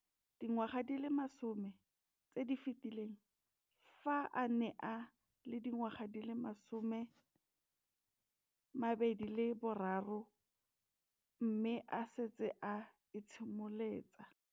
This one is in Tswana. Dingwaga di le 10 tse di fetileng, fa a ne a le dingwaga di le 23 mme a setse a itshimoletse.